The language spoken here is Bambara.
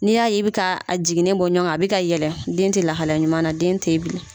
N' y'a'i bɛ ka jiginnen bɔ ɲɔgɔn kan a bɛ ka yɛlɛ den tɛ lahala ɲuman na den tɛ yen bilen.